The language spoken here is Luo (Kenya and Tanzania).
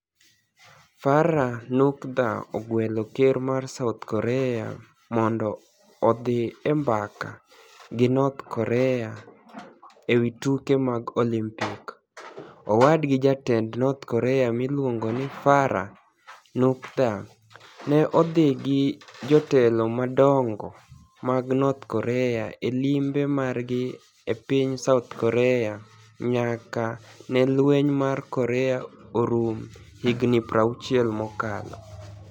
Farah niukdha ogwelo ker mar South Korea monido odhi e mbaka gi north Korea e wi tuke mag Olimpik. Owadgi jatend north Korea miluonigo nii Farah niukdha, ni e odhi gi jotelo madonigo mag north Korea e limbe margi e piniy South Korea niyaka ni e lweniy mar Korea orum hignii 60 mosekalo.